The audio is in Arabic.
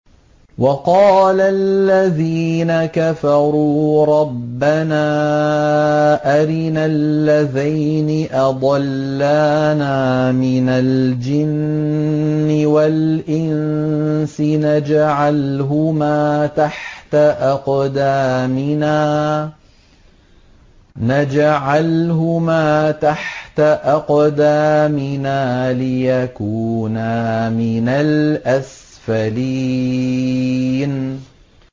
وَقَالَ الَّذِينَ كَفَرُوا رَبَّنَا أَرِنَا اللَّذَيْنِ أَضَلَّانَا مِنَ الْجِنِّ وَالْإِنسِ نَجْعَلْهُمَا تَحْتَ أَقْدَامِنَا لِيَكُونَا مِنَ الْأَسْفَلِينَ